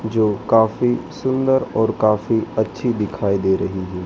जो काफी सुंदर और काफी अच्छी दिखाई दे रही है।